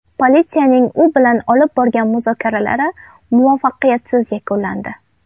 Politsiyaning u bilan olib borgan muzokaralari muvaffaqiyatsiz yakunlandi.